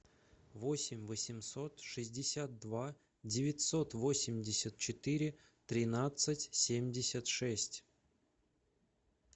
восемь восемьсот шестьдесят два девятьсот восемьдесят четыре тринадцать семьдесят шесть